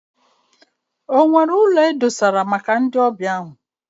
Ọ nwere ụlọ ọ bụla maka ndị ọbịa ahụ?